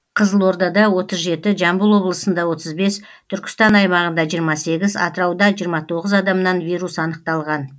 қызылордада отыз жеті жамбыл облысында отыз бес түркістан аймағында жиырма сегіз атырауда жиырма тоғыз адамнан вирус анықталған